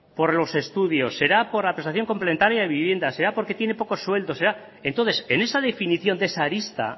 por los estudios será por la prestación complementaria de vivienda será porque tiene poco sueldo entonces en esa definición de esa arista